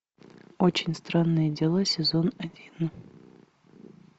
очень странные дела сезон один